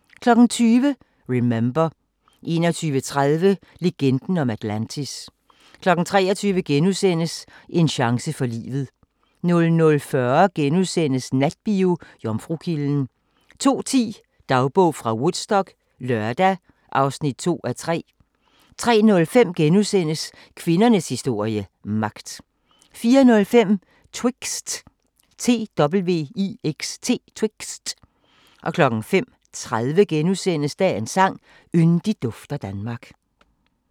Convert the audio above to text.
20:00: Remember 21:30: Legenden om Atlantis 23:00: En chance for livet * 00:40: Natbio: Jomfrukilden * 02:10: Dagbog fra Woodstock - lørdag (2:3) 03:05: Kvindernes historie – magt * 04:05: Twixt 05:30: Dagens sang: Yndigt dufter Danmark *